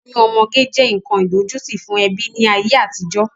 Oyún ọmọge jẹ́ nkan idojuti fún ẹbí ni ayé àtijọ́.